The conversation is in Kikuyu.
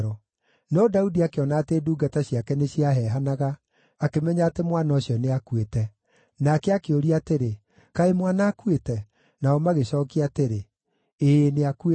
No Daudi akĩona atĩ ndungata ciake nĩciaheehanaga, akĩmenya atĩ mwana ũcio nĩakuĩte. Nake akĩũria atĩrĩ, “Kaĩ mwana akuĩte?” Nao magĩcookia atĩrĩ, “Ĩĩ, nĩakuĩte.”